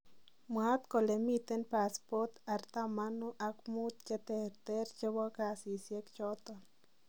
Mwaat kole miten pasipot atamanu ak muut cheter chebo kasisiek choton